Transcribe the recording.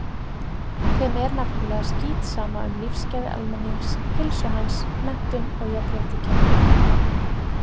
Þeim er nefnilega skítsama um lífsgæði almennings, heilsu hans, menntun og jafnrétti kynjanna.